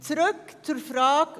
Zurück zur Frage: